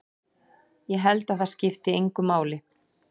Ég held að það skipti engu máli.